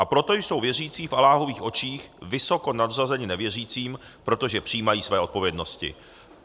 A proto jsou věřící v Alláhových očích vysoko nadřazeni nevěřícím, protože přijímají svoje odpovědnosti."